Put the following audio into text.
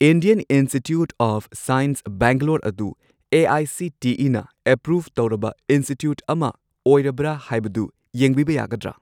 Indian Institute of Science Bangalore ꯑꯗꯨ ꯑꯦ.ꯑꯥꯏ.ꯁꯤ.ꯇꯤ.ꯏ.ꯅ approve ꯇꯧꯔꯕ ꯏꯟꯁꯇꯤꯇ꯭ꯌꯨꯠ ꯑꯃ ꯑꯣꯏꯔꯕ꯭ꯔꯥ ꯍꯥꯏꯕꯗꯨ ꯌꯦꯡꯕꯤꯕ ꯌꯥꯒꯗ꯭ꯔꯥ?